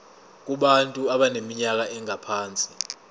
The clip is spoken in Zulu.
kubantu abaneminyaka engaphansi